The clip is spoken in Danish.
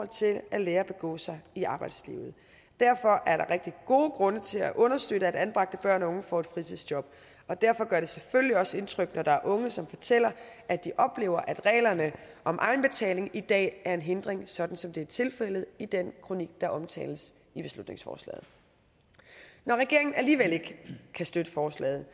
til at lære at begå sig i arbejdslivet derfor er der rigtig gode grunde til at understøtte at anbragte børn og unge får et fritidsjob og derfor gør det selvfølgelig også indtryk når der er unge som fortæller at de oplever at reglerne om egenbetaling i dag er en hindring sådan som det er tilfældet i den kronik der omtales i beslutningsforslaget når regeringen alligevel ikke kan støtte forslaget